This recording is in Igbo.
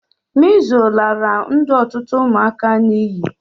Measles lara ndụ otutu ụmụaka n'ighi